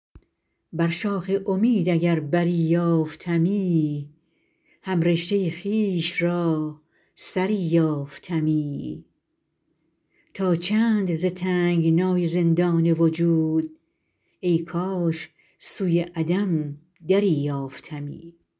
بر شاخ امید اگر بری یافتمی هم رشته خویش را سری یافتمی تا چند ز تنگنای زندان وجود ای کاش سوی عدم دری یافتمی